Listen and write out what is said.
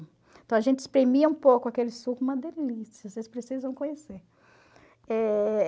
Então a gente espremia um pouco aquele suco, uma delícia, vocês precisam conhecer. Eh...